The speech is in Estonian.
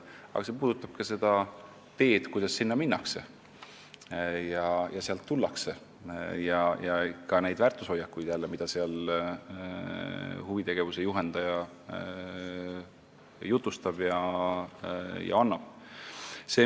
Ja see puudutab ka seda teed, kuidas sinna minnakse ja sealt tullakse, samuti neid väärtushoiakuid, mida huvitegevuse juhendaja esindab.